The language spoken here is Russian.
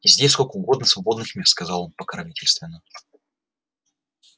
здесь сколько угодно свободных мест сказал он покровительственно